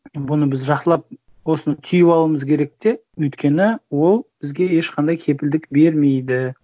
бұны біз жақсылап осыны түйіп алуымыз керек те өйткені ол бізге ешқандай кепілдік бермейді